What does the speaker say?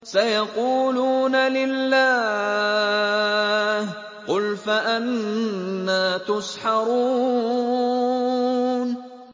سَيَقُولُونَ لِلَّهِ ۚ قُلْ فَأَنَّىٰ تُسْحَرُونَ